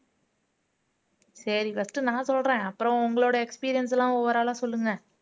சரி first நான் சொல்றேன் அப்புறம் உங்களோட experience எல்லாம் overall ஆ சொல்லுங்க